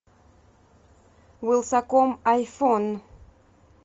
вилсаком айфон